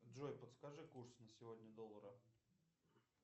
джой подскажи курс на сегодня доллара